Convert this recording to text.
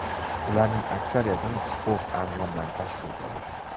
Ularning aksariyatini sport anjomlari tashkil etadi.